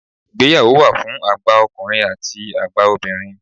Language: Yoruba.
Ìgbéyàwó wà fún àgbà ọkùnrin àti àgbà obìnrin.